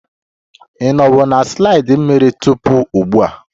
Ị nọwo na slide mmiri tupu ugbua?